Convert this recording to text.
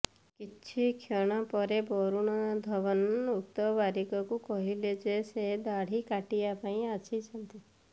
କିଛି କ୍ଷଣ ପରେ ବରୁଣ ଧଓ୍ବନ୍ ଉକ୍ତ ବାରିକଙ୍କୁ କହିଲେ ଯେ ସେ ଦାଢି କାଟିବା ପାଇଁ ଆସିଛନ୍ତି